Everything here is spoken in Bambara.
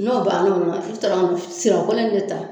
N'o banna sirakɔlɔ in dɛ ta